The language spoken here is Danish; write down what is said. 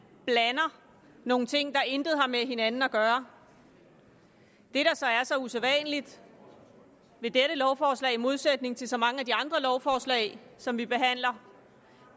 blander nogle ting der intet har med hinanden at gøre det der så er så usædvanligt ved dette lovforslag i modsætning til så mange af de andre lovforslag som vi behandler